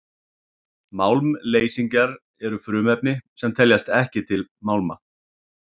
málmleysingjar eru frumefni sem teljast ekki til málma